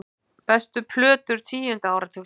Bestu plötur tíunda áratugarins